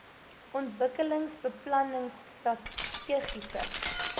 ontwikkelingsbeplanningstrategiese